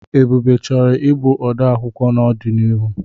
Ebube chọrọ ịbụ ode akwụkwọ n'ọdịnihu.